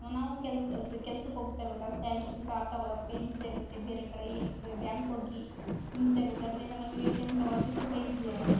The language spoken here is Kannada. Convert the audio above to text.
ನಾವು ಕೆಲ ಕೆಲಸಕ್ಕೆ ಹೋಗಬೇಕಾದಾಗ ಸ್ಯಾಲರಿಯಿಂದ ಕಾರು ತಗೋಳಕ್ಕೆ ಹಿಂಸೆ ಆಗುತ್ತೆ ಬೇರೆ ಕಡೆ ಬ್ಯಾಂಕ್ ಹೋಗಿ ಹಿಂಸೆ ಆಗುತ್ತೆ ಅದರಿಂದ ನನಗೆ ಟೈಮ್ ತಗೋಳಕ್ಕೆ ತುಂಬಾ ಈಸಿ ಆಗುತ್ತೆ.